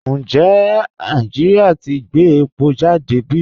Ǹjẹ̀ Nàìjíríà ti gbẹ̀ èpò jàdé bí?